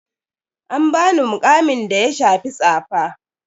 An bani muƙamin da ya shafi tsafa.